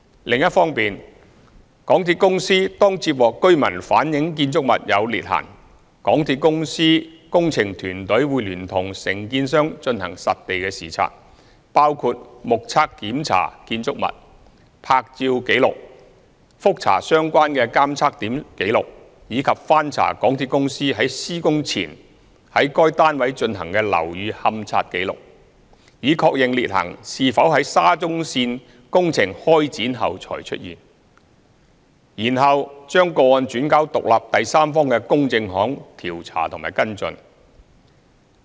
另一方面，當港鐵公司接獲居民反映建築物有裂痕時，港鐵公司工程團隊會聯同承建商進行實地視察，包括目測檢查建築物、拍照紀錄、覆查相關的監測點紀錄，以及翻查港鐵公司於施工前於該單位進行的樓宇勘察紀錄，以確認裂痕是否在沙中線工程開展後才出現，然後將個案轉交獨立第三方的公證行調查及跟進。